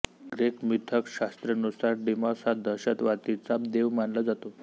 Greek मिथकशास्त्रानुसार Deimos हा दहशतीचा देव मानला जातो